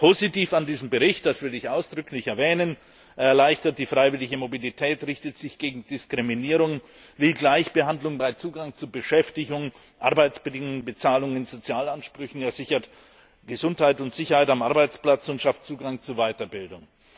Positiv an diesem Bericht das will ich ausdrücklich erwähnen ist Er erleichtert die freiwillige Mobilität, er richtet sich gegen Diskriminierung, er will Gleichbehandlung beim Zugang zu Beschäftigung, bei den Arbeitsbedingungen, der Bezahlung und bei den Sozialansprüchen, er sichert Gesundheit und Sicherheit am Arbeitsplatz und schafft Zugang zu Weiterbildung.